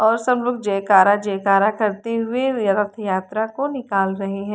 और सब लोग जयकारा जयकारा करते हुए अपनी यात्रा को निकाल रहे हैं।